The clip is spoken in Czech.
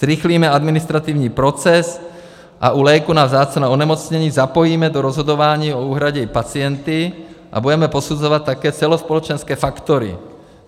Zrychlíme administrativní proces a u léků na vzácná onemocnění zapojíme do rozhodování o úhradě i pacienty a budeme posuzovat také celospolečenské faktory.